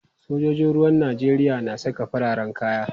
Sojojin ruwan Najeriya na saka fararen kaya.